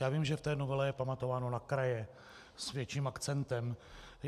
Já vím, že v té novele je pamatováno na kraje s větším akcentem.